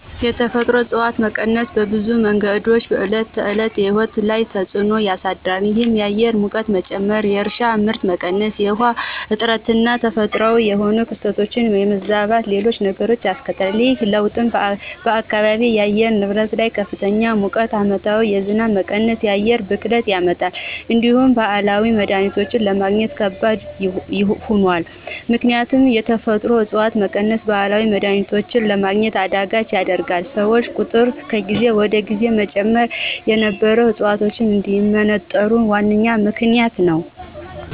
የተፈጥሮ እፅዋት መቀነስ በብዙ መንገዶች በዕለት ተዕለት ሕይወት ላይ ተፅዕኖ ያሳድራል። ይህም የአየር ሙቀት መጨመር፣ የእርሻ ምርት መቀነስ፣ የውሃ እጥረትና ተፈጥሯዊ የሆኑ ክስተቶች የመዛባትና ሌሎችም ነገሮች ያስከትላል። ይህ ለውጥ በአካባቢው የአየር ንብረት ላይ ከፍተኛ ሙቀት፣ ዓመታዊ የዝናብ መቀነስና የአየር ብክለትን ያመጣል። እንዲሁም ባህላዊ መድሀኒቶችን ለማግኘት ከባድ ሆኗል። ምክንያቱም የተፈጥሮአዊ ዕፅዋት መቀነስ ባህላዊ መድሀኒቶችን ለማግኘት አዳጋች ያደርገዋል፤ የሰዎች ቁጥር ከጊዜ ወደ ጊዜ መጨመር የነበሩ ዕፅዋቶች እንዲመነጠሩ ዋነኛ ምክንያት ነዉ።